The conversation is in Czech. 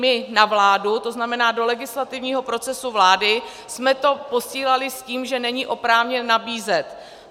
My na vládu, to znamená do legislativního procesu vlády, jsme to posílali s tím, že není oprávněn nabízet.